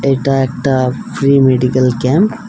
এটা একটা free medical camp.